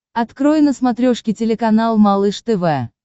открой на смотрешке телеканал малыш тв